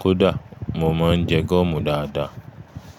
Kódà mo máa ń jẹ gọ́ọ̀mù dáadáa.